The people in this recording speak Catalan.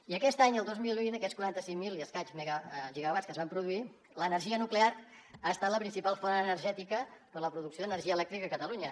i aquest any el dos mil vint en aquests quaranta cinc mil i escaig gigawatts que es van produir l’energia nuclear ha estat la principal font energètica per a la producció d’energia elèctrica a catalunya